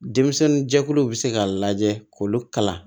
Denmisɛnninjɛkuluw bɛ se ka lajɛ k'olu kalan